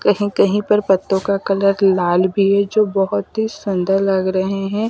कहीं-कहीं पर पत्तों का कलर लाल भी है जो बहुत ही सुंदर लग रहे हैं।